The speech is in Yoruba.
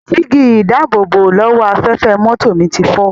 Jígí-ìdáàbòbò-lọ́wọ́-afẹ́fẹ́ mọ́tò mi ti fọ́.